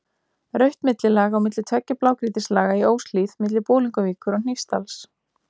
Rautt millilag milli tveggja blágrýtislaga í Óshlíð milli Bolungarvíkur og Hnífsdals.